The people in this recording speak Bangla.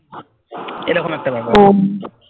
এরকম একটা ব্যাপার